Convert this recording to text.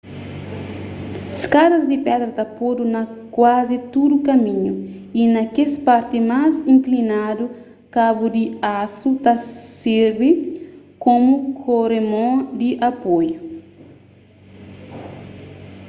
skadas di pedra ta podu na kuazi tudu kaminhu y na kes parti más inklinadu kabu di asu ta sirbi komu koremon di apoiu